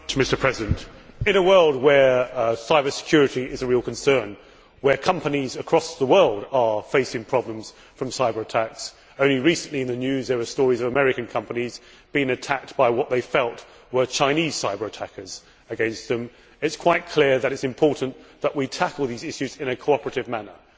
Mr President, in a world where cybersecurity is a real concern, where companies across the world are facing problems from cyber attacks only recently in the news there were stories of American companies being attacked by what they felt were Chinese cyber attackers it is quite clear that it is important that we tackle these issues in a cooperative manner.